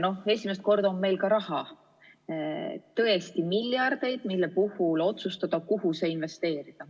Esimest korda on meil ka raha, tõesti miljardeid, mille puhul otsustada, kuhu see investeerida.